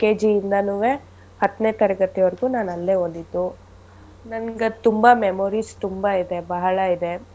LKG ಯಿಂದನೂವೆ ಹತ್ನೇ ತರಗತಿವರ್ಗೂ ನಾನ್ ಅಲ್ಲೇ ಓದಿದ್ದು. ನನ್ಗದ್ ತುಂಬಾ memories ತುಂಬಾ ಇದೆ ಬಹಳ ಇದೆ.